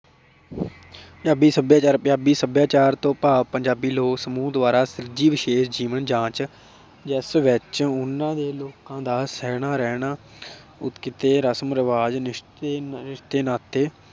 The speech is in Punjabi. ਪੰਜਾਬੀ ਸਭਿਆਚਾਰ, ਪੰਜਾਬੀ ਸਭਿਆਚਾਰ ਤੋਂ ਭਾਵ ਪੰਜਾਬੀ ਲੋਕ ਸਮੂਹ ਦੁਆਰਾ ਸੁਲਜੀ ਵਿਸ਼ੇਸ਼ ਜੀਵਨ ਜਾਂਚ ਜਾਂ ਸਵੱਚ ਉਨ੍ਹਾਂ ਦੇ ਲੋਕਾਂ ਦਾ ਸਹਿਣਾ ਰਹਿਣਾ ਕਿਤੇ ਰਸਮ ਰਿਵਾਜ, ਰਿਸ਼ਤੇ ਰਿਸ਼ਤੇ ਨਾਤੇ